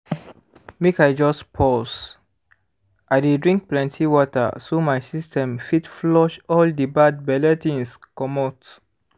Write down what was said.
make i just pause. i dey drink plenty water so my system fit flush all the bad belle things comot